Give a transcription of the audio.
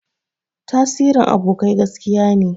Tasirin abokai gaskiya ne.